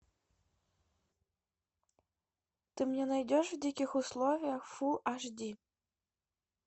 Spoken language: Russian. ты мне найдешь в диких условиях фул аш ди